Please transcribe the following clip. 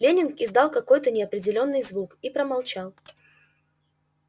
лэннинг издал какой-то неопределённый звук и промолчал